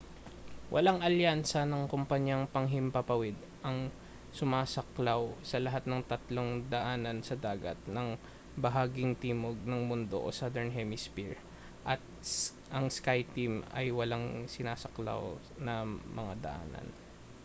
walang alyansa ng kompanyang panghimpapawid ang sumasaklaw sa lahat ng tatlong daanan sa dagat sa bahaging timog ng mundo o southern hemisphere at ang skyteam ay walang sinasaklaw na mga daanan